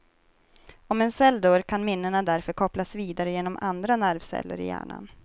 Om en cell dör kan minnena därför kopplas vidare genom andra nervceller i hjärnan.